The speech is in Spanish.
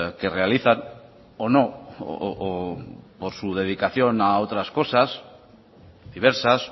que realizan o no o por su dedicación a otras cosas diversas